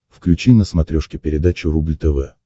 включи на смотрешке передачу рубль тв